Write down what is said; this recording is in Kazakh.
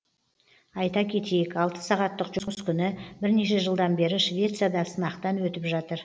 айта кетейік алты сағаттық жұмыс күні бірнеше жылдан бері швецияда сынақтан өтіп жатыр